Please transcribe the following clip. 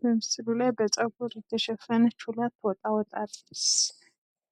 በምስሉ ላይ በፀጉር የተሸፈነች ሁለት ወጣ ወጣ ያለ